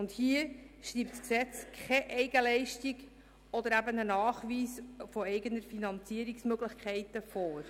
Hier schreibt das Gesetz keine Eigenleistung oder einen Nachweis eigener Finanzierungsmöglichkeiten vor.